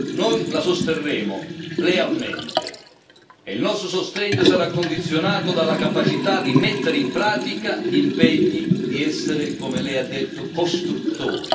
Noi la sosterremo lealmente e il nostro sostegno sarà condizionato dalla capacità di mettere in pratica gli impegni, di essere come lei ha detto costruttori.